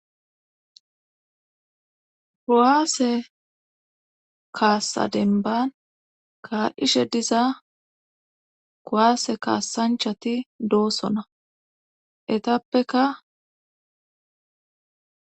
kuwaase kaassa denban ka'ishe diza kuwaase kaassanchati doosona etappeka